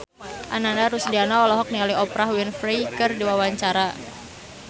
Ananda Rusdiana olohok ningali Oprah Winfrey keur diwawancara